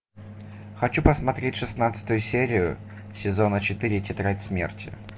хочу посмотреть шестнадцатую серию сезона четыре тетрадь смерти